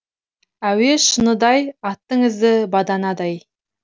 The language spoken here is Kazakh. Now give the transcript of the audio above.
әуе шыныдай аттың ізі баданадай